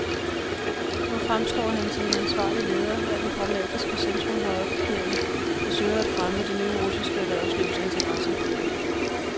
Nu fremstår han som en ansvarlig leder af den pragmatiske centrumhøjre gruppering, der søger at fremme det nye russiske erhvervslivs interesser.